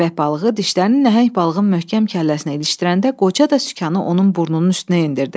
Köpək balığı dişlərini nəhəng balığın möhkəm kəlləsinə ilişdirəndə qoca da sükanı onun burnunun üstünə endirdi.